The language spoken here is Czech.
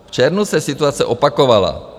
V červnu se situace opakovala.